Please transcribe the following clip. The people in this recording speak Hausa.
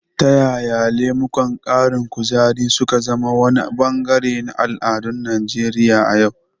Ta yaya lemukan ƙarin kuzari su ka zama wani bangare na al'adun Najeriya a yau?